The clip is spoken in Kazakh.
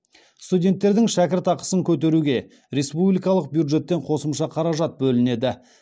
студенттердің шәкіртақысын көтеруге республикалық бюджеттен қосымша қаражат бөлінеді